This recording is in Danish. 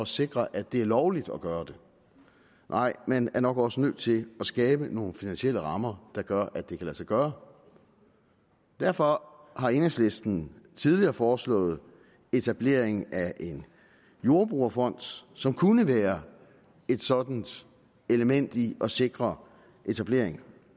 sikre at det er lovligt at gøre det man er nok også nødt til at skabe nogle finansielle rammer der gør at det kan lade sig gøre derfor har enhedslisten tidligere foreslået etablering af en jordbrugerfond som kunne være et sådant element i at sikre etablering